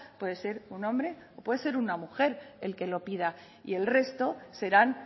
puede ser un hombre o puede ser una mujer el que lo pida y el resto serán